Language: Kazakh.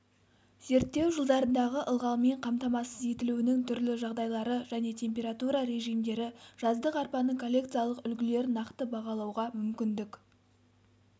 зерттеу жылдарындағы ылғалмен қамтамасыз етілуінің түрлі жағдайлары және температура режимдері жаздық арпаның коллекциялық үлгілерін нақты бағалауға мүмкіндік